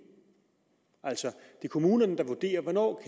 kommunerne der vurderer hvornår